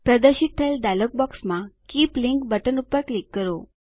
પ્રદર્શિત થયેલ ડાયલોગ બોક્સમાં કીપ લિંક બટન પર ક્લિક કરો